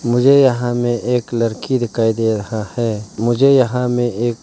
मुझे यहा में एक लड़की दिखाई दे रहा है मुझे यहां मे एक --